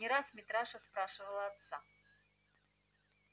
не раз митраша спрашивал отца